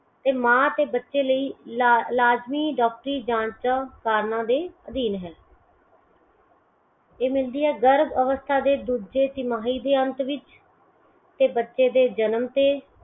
ਤੇ ਮਾਂ ਤੇ ਬਚੇ ਲਈ ਲਾਜ਼ਮੀ ਡਾਕਟਰੀ ਜਾਂਚ ਦੇ ਕਾਰਨਾਂ ਦੇ ਅਧੀਨ ਹੈ। ਇਹ ਮਿਲਦੀ ਹੈ ਗਰਭ ਅਵਸਥਾ ਦੇ ਦੂਜੇ ਮਹੀਨੇ ਦੇ ਅੰਤ ਵਿੱਚ ਅਤੇ ਬੱਚੇ ਦੇ ਜਨਮ ਤੇ